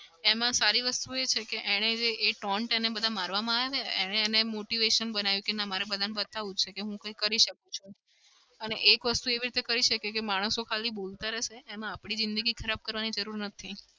એમાં સારી વસ્તુ એ છે કે એને જે એ tont બધા મારવામાં આવ્યા છે ને એને motivation બનાવ્યું કે મારે બધાને બતાવું છે કે હું કઈ કરું શકું છું. અને એક વસ્તુ એવી રીતે કઈ શકે કે માણસો ખાલી બોલતા જ રહેશે. એમાં આપડી જીંદગી ખરાબ કરવાની જરૂર નથી.